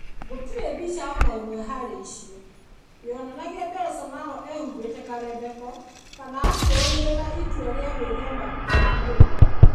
Gũtirĩ mbica o na ĩmwe harĩ icio yonanagia Bolsonaro ehumbĩte karembeko. Kana akĩrũmĩrĩra itua rĩa gwĩthema gũkuhĩrĩria andũ.